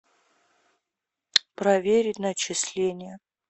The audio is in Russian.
проверить начисления